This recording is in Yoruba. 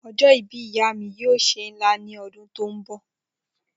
Ojo ibi iya mi yoo se nla ni odun to nbo.